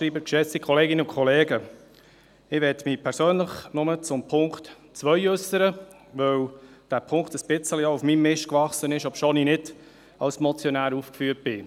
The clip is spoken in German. Ich möchte mich persönlich nur zum Punkt 2 äussern, weil dieser Punkt auch ein bisschen auf meinem Mist gewachsen ist, obwohl ich nicht als Motionär aufgeführt bin.